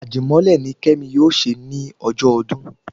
Àdímọ́lẹ̀ ni kemi yóò ṣe ní ọjọ ọdún